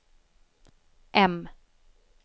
M